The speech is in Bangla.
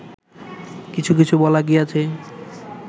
কিছু কিছু বলা গিয়াছে